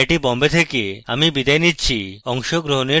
I I T Bombay থেকে amal বিদায় নিচ্ছি